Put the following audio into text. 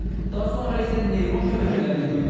Daha sonra isə neyron şəbəkələrinə göndərilir.